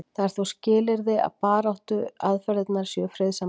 það er þó skilyrði að baráttuaðferðirnar séu friðsamlegar